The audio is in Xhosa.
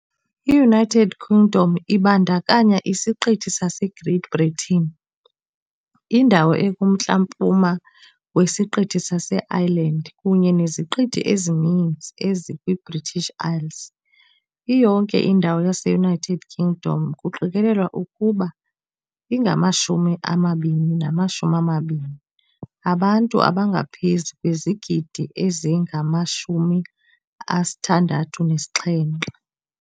I-United Kingdom ibandakanya isiqithi saseGreat Britain, indawo ekumntla-mpuma wesiqithi saseIreland, kunye neziqithi ezininzi ezikwiBritish Isles. Iyonke indawo yaseUnited Kingdom, kuqikelelwa ukuba ingama-2020 abantu abangaphezu kwezigidi ezingama-67.